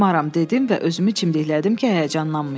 dedim və özümü çimdiklədim ki, həyəcanlanmayım.